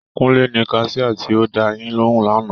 Kúnlé ni kaṣiá tí ó dáa yín lóhùn lánàá